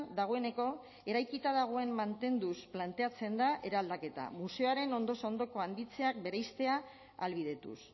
dagoeneko eraikita dagoen mantenduz planteatzen da eraldaketa museoaren ondoz ondoko handitzeak bereiztea ahalbidetuz